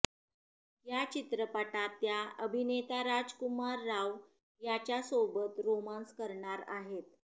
या चित्रपटात त्या अभिनेता राजकुमार राव याच्यासोबत रोमान्स करणार आहेत